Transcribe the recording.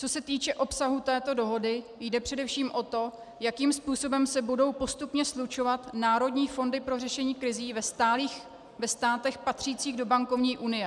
Co se týče obsahu této dohody, jde především o to, jakým způsobem se budou postupně slučovat národní fondy pro řešení krizí ve státech patřících do bankovní unie.